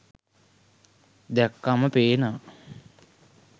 දැක්කම පේනවා.